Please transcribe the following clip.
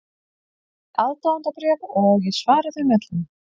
Ég fæ aðdáendabréf og ég svara þeim öllum.